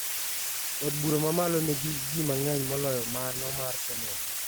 Od bura mamalo nigi jii mang`eny moloyo mano mar senet